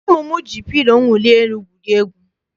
Ụmụ m ji pilo mwuli elu gwurie egwu.